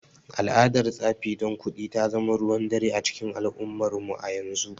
Al’adar tsafi don kuɗi ta zama ruwan dare a cikin al’ummarmu a yanzu.